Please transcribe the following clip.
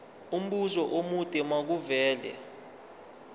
umbuzo omude makuvele